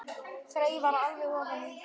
Þreifar alveg ofan í hann.